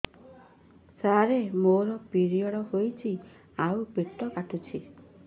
ସାର ମୋର ପିରିଅଡ଼ ହେଇଚି ଆଉ ପେଟ କାଟୁଛି